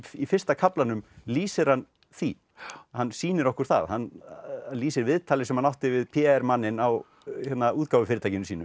í fyrsta kaflanum lýsir hann því hann sýnir okkur það hann lýsir viðtali sem hann átti við p r manninn á útgáfufyrirtækinu sínu